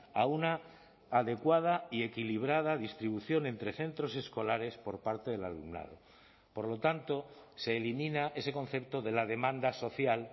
a una adecuada y equilibrada distribución entre centros escolares por parte del alumnado por lo tanto se elimina ese concepto de la demanda social